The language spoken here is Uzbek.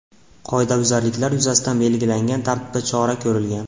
Qoidabuzarliklar yuzasidan belgilangan tartibda chora ko‘rilgan.